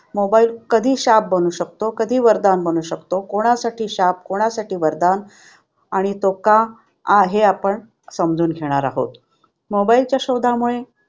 Mobile कधी शाप बनू शकतो, कधी वरदान म्हणू शकतो, कोणासाठी शाप कोणासाठी वरदान, आणि तो का आहे? आपण समजून घेणार आहोत mobile च्या शोधामुळे